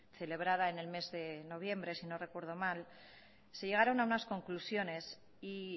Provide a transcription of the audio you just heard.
celebrada en el mes de noviembre sino recuerdo mal se llegaron a unas conclusiones y